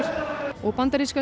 og bandaríska